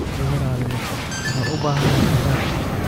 Iga raali noqo, waxaan u baahanahay qajaar.